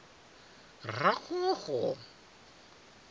raxoxo